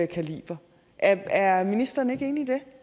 kaliber er er ministeren ikke